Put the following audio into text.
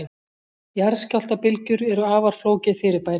Jarðskjálftabylgjur eru afar flókið fyrirbæri.